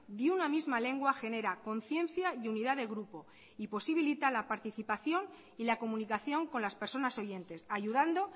de una misma lengua genera conciencia y unidad de grupo y posibilita la participación y la comunicación con las personas oyentes ayudando